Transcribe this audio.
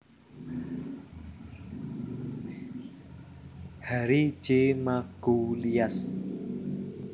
Harry J Magoulias